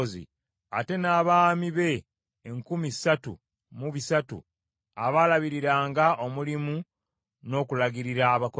ate n’abaami be enkumi ssatu mu bisatu abaalabiriranga omulimu n’okulagirira abakozi.